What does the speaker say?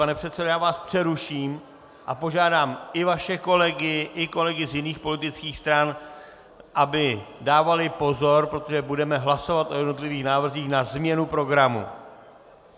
Pane předsedo, já vás přeruším a požádám i vaše kolegy i kolegy z jiných politických stran, aby dávali pozor, protože budeme hlasovat o jednotlivých návrzích na změnu programu.